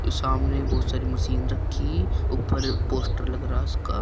सामने बहुत सारे मशीन रखी ऊपर पोस्टर लग रहा है उसका।